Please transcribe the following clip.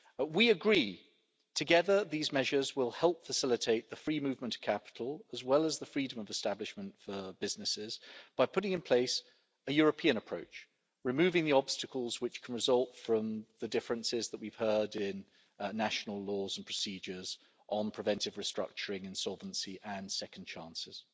We agree that, together, these measures will help facilitate the free movement of capital as well as the freedom of establishment for businesses by putting in place a European approach, removing the obstacles that can result from the differences in national laws and procedures on preventive restructuring insolvency and second chances.